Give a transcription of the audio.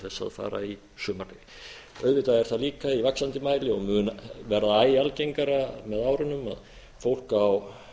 að fara í sumarfrí auðvitað er það líka í vaxandi mæli og mun verða æ algengara með raunum að fólk á